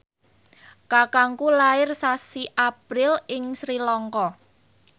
kakangku lair sasi April ing Sri Lanka